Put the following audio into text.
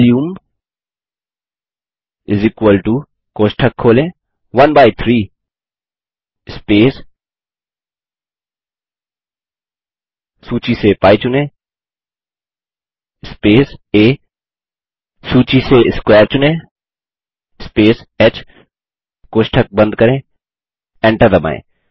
volume कोष्ठक खोलें 13 space सूची से π चुनें स्पेस आ सूची से स्क्वेयर चुनें स्पेस ह कोष्ठक बंद करें एंटर दबायें